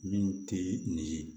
Min tɛ nin ye